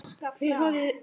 Þau horfðu út.